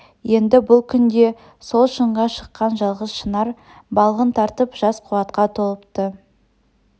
енді бұл күнде сол шыңға шыққан жалғыз шынар балғын тартып жас қуатқа толыпты